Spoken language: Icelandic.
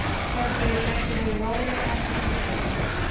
Hélstu að ég gæti verið róleg án þess að vita neitt?